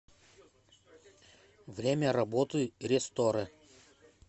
время работы ре сторе